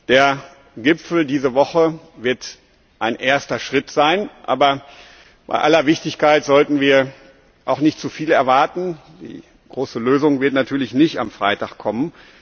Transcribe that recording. Der Gipfel diese Woche wird ein erster Schritt sein. Aber bei aller Wichtigkeit sollten wir auch nicht zu viel erwarten. Die große Lösung wird natürlich nicht am Freitag kommen.